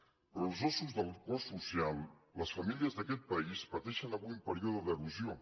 però els ossos del cos social les famílies d’aquest país pateixen avui un període d’erosió